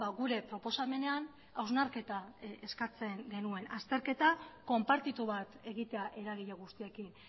gure proposamenean hausnarketa eskatzen genuen azterketa konpartitu bat egitea eragile guztiekin